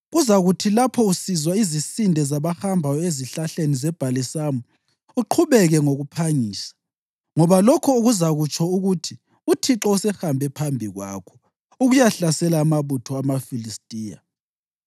Kuzakuthi lapho usizwa izisinde zabahambayo ezihlahleni zebhalisamu, uqhubeke ngokuphangisa, ngoba lokho kuzakutsho ukuthi uThixo usehambe phambi kwakho ukuyahlasela amabutho amaFilistiya.”